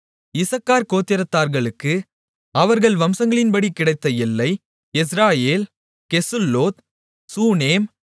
இசக்கார் கோத்திரத்தார்களுக்கு அவர்கள் வம்சங்களின்படி கிடைத்த எல்லை யெஸ்ரயேல் கெசுல்லோத் சூனேம்